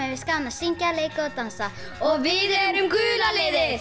finnst gaman að syngja leika og dansa og við erum gula liðið